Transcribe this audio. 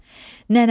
Nənəmdir,